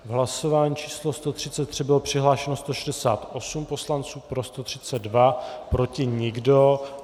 V hlasování číslo 133 bylo přihlášeno 168 poslanců, pro 132, proti nikdo.